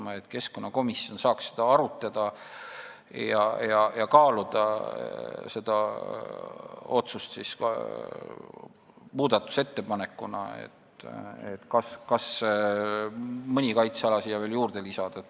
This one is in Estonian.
Siis saaks keskkonnakomisjon seda arutada ja kaaluda ka muudatusettepanekuna otsust, kas mõni kaitseala siia veel juurde lisada.